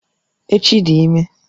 Echi dị ímé